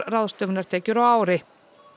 ráðstöfunartekjur á ári